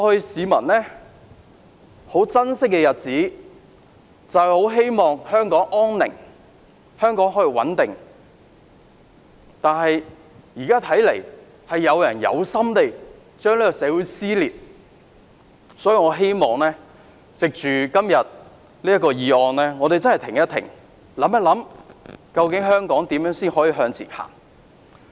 市民很珍惜過去的日子，希望香港可以安寧穩定，但現在看來，有人存心撕裂香港社會，所以我希望藉着今天這項議案，我們真的停一停，想一想，究竟香港要如何往前走？